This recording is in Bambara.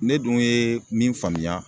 Ne dun ye min faamuya